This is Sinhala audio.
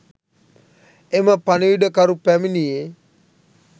එම පණිවුඩකරු පැමිණියේ